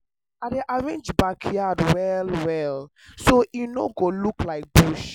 i dey arrange backyard well well so e no go look like bush.